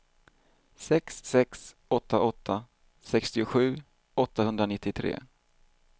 sex sex åtta åtta sextiosju åttahundranittiotre